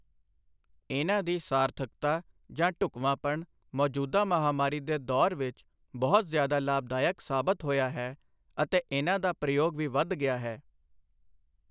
ਇਨ੍ਹਾਂ ਦੀ ਸਾਰਥਕਤਾ ਜਾਂ ਢੁਕਵਾਂਪਣ ਮੌਜੂਦਾ ਮਹਾਂਮਾਰੀ ਦੇ ਦੌਰ ਵਿਚ ਬਹੁਤ ਜ਼ਿਆਦਾ ਲਾਭਦਾਇਕ ਸਾਬਤ ਹੋਇਆ ਹੈ ਅਤੇ ਇਨ੍ਹਾਂ ਦਾ ਪ੍ਰਯੋਗ ਵੀ ਵੱਧ ਗਿਆ ਹੈ।